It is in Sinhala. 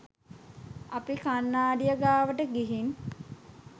අපි කන්නාඩිය ගාවට ගිහින්